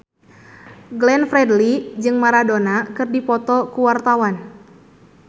Glenn Fredly jeung Maradona keur dipoto ku wartawan